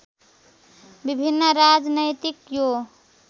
विभिन्न राजनैतिक यो